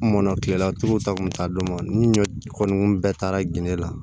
N mɔnna kilela tuluw ta kun ta dɔn ni ɲɔ kɔni bɛɛ taara gende la